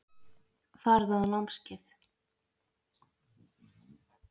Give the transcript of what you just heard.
Farðu á námskeið.